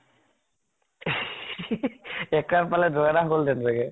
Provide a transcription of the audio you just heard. এক run পালে দৌৰ এটা হল হেতেন চাগে।